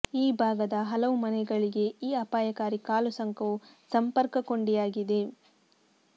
ಈ ಭಾಗದ ಹಲವು ಮನೆಗಳಿಗೆ ಈ ಅಪಾಯಕಾರಿ ಕಾಲುಸಂಕವು ಸಂಪರ್ಕ ಕೊಂಡಿಯಾಗಿದೆ